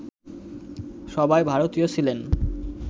সবাই ভারতীয় ছিলেন